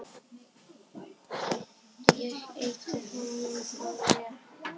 Ég ýtti honum frá mér.